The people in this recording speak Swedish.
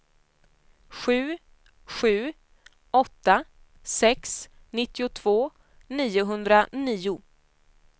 sju sju åtta sex nittiotvå niohundranio